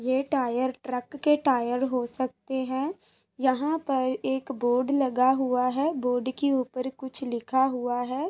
ये tyre truck के tyre हो सकते हैं। यहाँ पर एक बोर्ड लगा हुआ है बोर्ड के ऊपर कुछ लिखा हुआ है।